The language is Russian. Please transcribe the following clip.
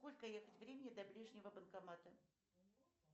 сколько ехать времени до ближнего банкомата